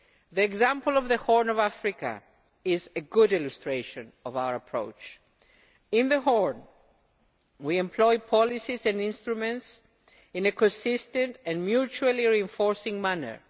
The example of the Horn of Africa is a good illustration of our approach. In the Horn, we employ policies and instruments in a consistent and mutually reinforcing manner.